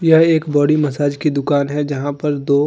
और यह एक बॉडी मसाज की दुकान है जहां पर दो--